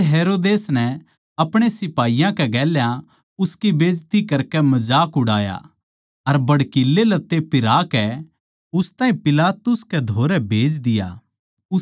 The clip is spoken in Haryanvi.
फेर हेरोदेस नै अपणे सिपाहियाँ के गेल्या उसकी बेज्ती करके मजाक उड़ाया अर भड़कीले लत्ते पिराह के उस ताहीं पिलातुस के धोरै भेज दिया